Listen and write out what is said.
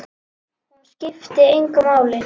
Hún skipti hann engu máli.